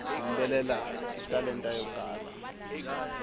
ku yimbelela i talenta yo kala